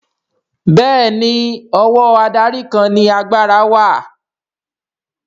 Bẹ́ẹ̀ni ọwọ́ adarí kan ni agbára wà